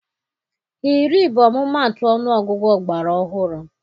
Iri bụ ọmụmaatụ ọnụọgụ ọgbara ọhụrụ.